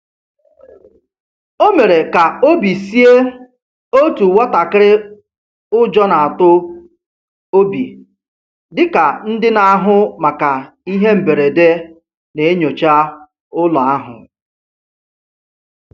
O mere ka obi sie otu nwatakịrị ụjọ na-atụ obi dị ka ndị na-ahụ maka ihe mberede na-enyocha ụlọ ahụ.